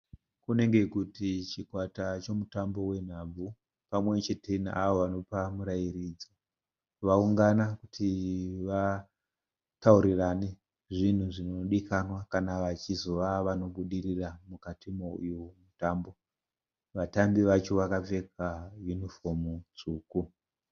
Kunenge kuti chikwata chemutambo wenhabvu pamwechete neavo vanopa murairidzi. Vaungana kuti vataurirane zvinhu zvinodikanwa kana vachizova vanobudirira mukati meuyu mutambo. Vatambi vacho vakapfeka yunifomu tsvuku.